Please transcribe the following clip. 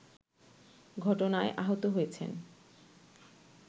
ঘটনায় আহত হয়েছেন